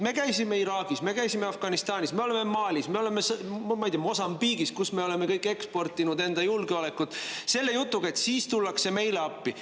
Me käisime Iraagis, me käisime Afganistanis, me oleme Malis, me oleme, ma ei tea, Mosambiigis, kuhu me oleme eksportinud julgeolekut selle jutuga, et siis tullakse ka meile appi.